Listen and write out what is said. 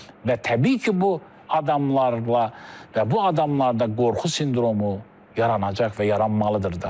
Və təbii ki, bu adamlarla və bu adamlarda qorxu sindromu yaranacaq və yaranmalıdır da.